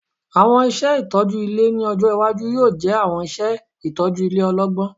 Awọn iṣẹ itọju ile ni ọjọ iwaju yoo jẹ awọn iṣẹ itọju ile ọlọgbọn